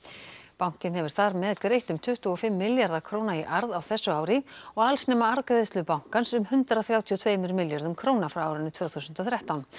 bankinn hefur þar með greitt um tuttugu og fimm milljarða króna í arð á þessu ári og alls nema arðgreiðslur bankans um hundrað þrjátíu og tveimur milljörðum króna frá árinu tvö þúsund og þrettán